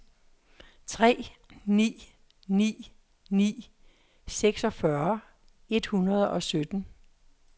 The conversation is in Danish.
tre ni ni ni seksogfyrre et hundrede og sytten